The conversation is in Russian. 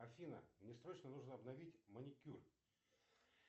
афина мне срочно нужно обновить маникюр